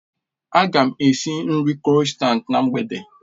Aga m esi nri krossants na mgbede